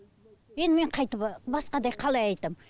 енді мен қайтіп басқадай қалай айтамын